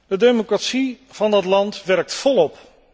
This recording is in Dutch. De democratie van het land werkt volop.